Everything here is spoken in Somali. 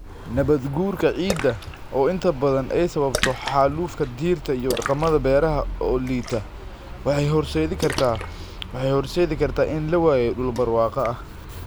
Nabaadguurka ciidda, oo inta badan ay sababto xaalufka dhirta iyo dhaqamada beeraha oo liita, waxay horseedi kartaa in la waayo dhul barwaaqo ah.